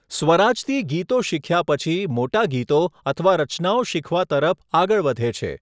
સ્વરાજતી ગીતો શીખ્યા પછી મોટા ગીતો અથવા રચનાઓ શીખવા તરફ આગળ વધે છે.